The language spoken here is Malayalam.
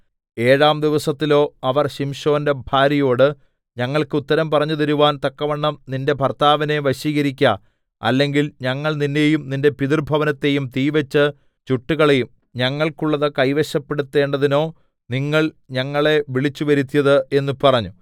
ഏഴാം ദിവസത്തിലോ അവർ ശിംശോന്റെ ഭാര്യയോട് ഞങ്ങൾക്ക് ഉത്തരം പറഞ്ഞുതരുവാൻ തക്കവണ്ണം നിന്റെ ഭർത്താവിനെ വശീകരിക്ക അല്ലെങ്കിൽ ഞങ്ങൾ നിന്നെയും നിന്റെ പിതൃഭവനത്തെയും തീവെച്ച് ചുട്ടുകളയും ഞങ്ങൾക്കുള്ളത് കൈവശപ്പെടുത്തേണ്ടതിനോ നിങ്ങൾ ഞങ്ങളെ വിളിച്ചുവരുത്തിയത് എന്ന് പറഞ്ഞു